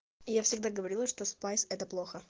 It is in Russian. я всегда говорила что спайс это плохо